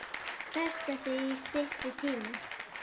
Festa sig í styttri tíma.